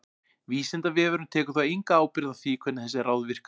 Vísindavefurinn tekur þó enga ábyrgð á því hvernig þessi ráð virka.